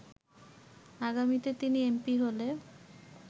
আগামীতে তিনি এমপি হলে